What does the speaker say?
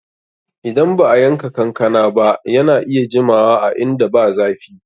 Idan ba'a yanka kankana ba, yana iya jimawa a inda ba zafi.